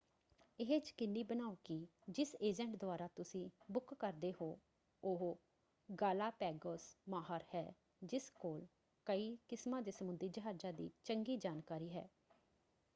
ਇਹ ਯਕੀਨੀ ਬਣਾਓ ਕਿ ਜਿਸ ਏਜੰਟ ਦੁਆਰਾ ਤੁਸੀਂ ਬੁੱਕ ਕਰਦੇ ਹੋ ਉਹ ਗਾਲਾਪੈਗੋਸ ਮਾਹਰ ਹੈ ਜਿਸ ਕੋਲ ਕਈ ਕਿਸਮਾਂ ਦੇ ਸਮੁੰਦਰੀ ਜਹਾਜ਼ਾਂ ਦੀ ਚੰਗੀ ਜਾਣਕਾਰੀ ਹੈ।